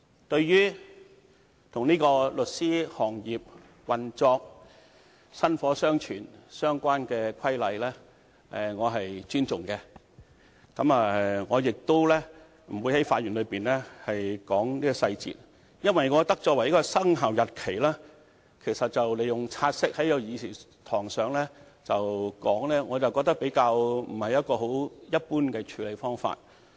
對於與律師行業的運作和薪火相傳相關的規則，我是尊重的，我亦不會在發言中談論細節，因為我認為以"察悉議案"的形式在議事堂上討論有關的生效日期，並非一般的處理方法。